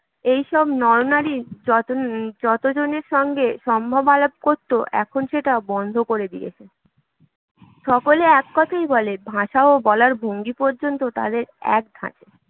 এইসব নরনারীর যতজনের সঙ্গে সম্ভব আলাপ করত, এখন সেটা বন্ধ করে দিয়েছে সকলে এক কথাই বলে ভাষা ও বলার ভঙ্গি পর্যন্ত তাদের এক ধাঁচের